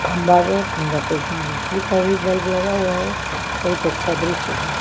खंबा में खंबा पे बिजली का भी बल्ब लगा हुआ है बहुत अच्छा दृश्य है।